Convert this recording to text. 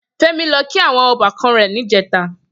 Femi lò kí áwòn òbàkàn rè nijètá